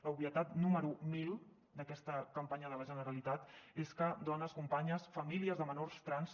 l’obvietat número mil d’aquesta campanya de la generalitat és que dones companyes famílies de menors trans